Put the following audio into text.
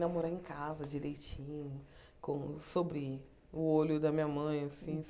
Namorar em casa direitinho, com sob o olho da minha mãe assim.